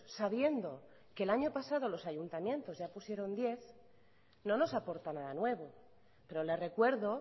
sabiendo que el año pasado los ayuntamientos ya pusieron diez no nos aporta nada nuevo pero le recuerdo